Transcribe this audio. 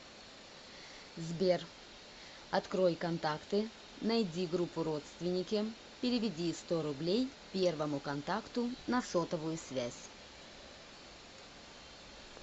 сбер открой контакты найди группу родственники переведи сто рублей первому контакту на сотовую связь